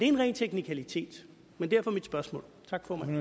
en ren teknikalitet men derfor mit spørgsmål tak formand